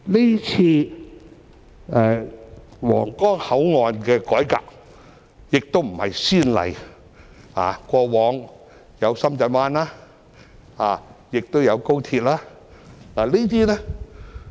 今次皇崗口岸的改革不是先例，過往有深圳灣及廣深港高速鐵路香港段。